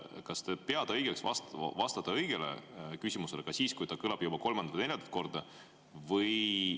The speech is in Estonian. Kas te peate õigeks vastata kõigile küsimustele ka siis, kui need kõlavad juba kolmandat või neljandat korda?